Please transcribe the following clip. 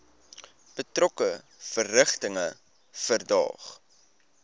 betrokke verrigtinge verdaag